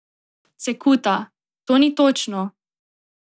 Cekuta: "To ni točno.